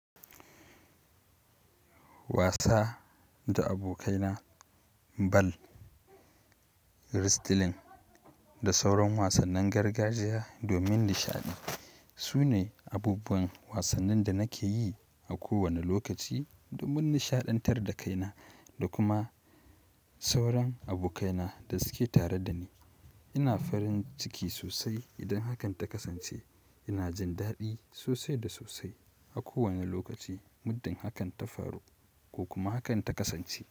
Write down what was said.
Wasa da abokaina ball, wrestling da sauran wasannin gargajiya domin nishaɗi. Su ne abubuwan wasannin da nake yi a kowane lokaci domin nishaɗantar da kaina da kuma s sauran abokaina da suke tare da ni. Ina farin ciki sosai idan hakan ta kasance. Ina jin daɗi sosai da sosai a kowane lokaci muddin hakan ta faru ko kuma hakan ta kasance.